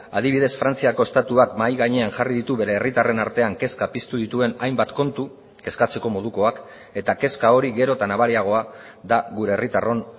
adibidez frantziako estatuak mahai gainean jarri ditu bere herritarren artean kezka piztu dituen hainbat kontu kezkatzeko modukoak eta kezka hori gero eta nabariagoa da gure herritarron